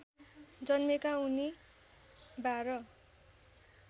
जन्मेका उनी १२